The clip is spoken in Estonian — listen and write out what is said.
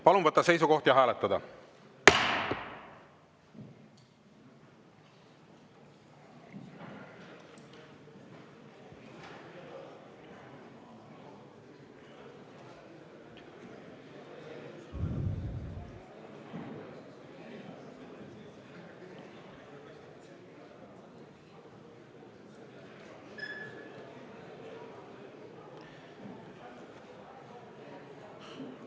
Palun võtta seisukoht ja hääletada!